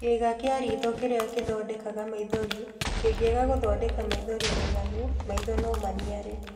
kĩĩga kĩa riitho kĩrĩa kĩthondekaga maithori kĩngĩaga gũthondeka maithori maiganu, maitho no maniare.